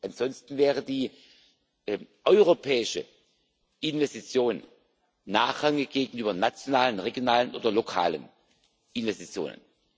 Ansonsten wäre die europäische Investition nachrangig gegenüber nationalen, regionalen oder lokalen Investitionen.